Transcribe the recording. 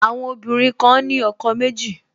Àwọn obìnrin kan ní ọkọ méjì